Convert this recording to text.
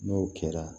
N'o kɛra